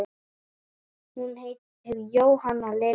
Hún heitir Jóhanna Lilja.